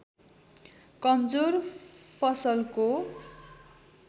कमजोर फसलको